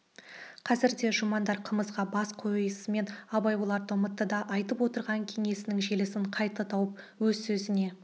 қазірде де жұмандар қымызға бас қойысымен абай оларды ұмытты да айтып отырған кеңесінің желісін қайта тауып өз сөзіне